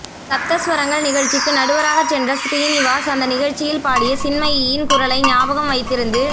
சப்தஸ்வரங்கள் நிகழ்ச்சிக்கு நடுவராகச் சென்ற ஶ்ரீநிவாஸ் அந்த நிகழ்ச்சியில் பாடிய சின்மயியின் குரலை ஞாபகம் வைத்திருந்து